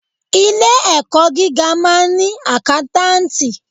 Ilé ẹ̀kọ́ gíga máà ń ni àkántàntì.